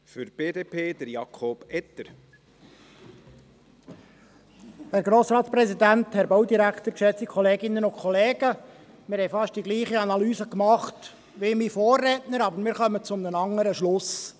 Wir haben fast dieselbe Analyse gemacht wie mein Vorredner, kommen aber zu einem anderen Schluss.